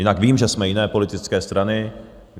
Jinak vím, že jsme jiné politické strany.